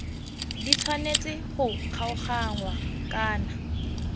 di tshwanetse go kgaoganngwa kana